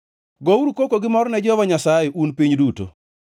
Gouru koko gi mor ne Jehova Nyasaye, un piny duto.